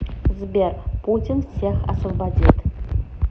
сбер путин всех освободит